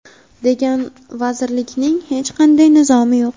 degan vazirlikning hech qanday nizomi yo‘q.